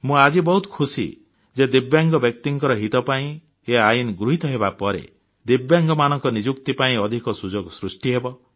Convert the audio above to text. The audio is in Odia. ମୁଁ ଆଜି ବହୁତ ଖୁସି ଯେ ଦିବ୍ୟାଙ୍ଗ ବ୍ୟକ୍ତିଙ୍କ ହିତ ପାଇଁ ଏ ଆଇନ ଗୃହୀତ ହେବାପରେ ଦିବ୍ୟାଙ୍ଗମାନଙ୍କ ନିଯୁକ୍ତି ପାଇଁ ଅଧିକ ସୁଯୋଗ ସୃଷ୍ଟି ହେବ